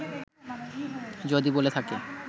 যদি বলে থাকে